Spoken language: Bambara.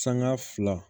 Sanŋa fila